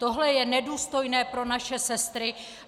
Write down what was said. Tohle je nedůstojné pro naše sestry.